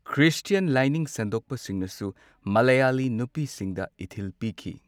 Christian ꯂꯥꯏꯅꯤꯡ ꯁꯟꯗꯣꯛꯄꯁꯤꯡꯅꯁꯨ ꯃꯂꯥꯌꯥꯂꯤ ꯅꯨꯄꯤꯁꯤꯡꯗ ꯏꯊꯤꯜ ꯄꯤꯈꯤ꯫